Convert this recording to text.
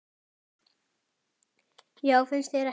Já, finnst þér ekki?